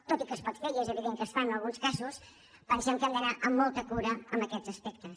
tot i que es pot fer i és evident que es fa en alguns casos pensem que hem d’anar amb molta cura amb aquests aspectes